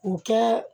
O kɛ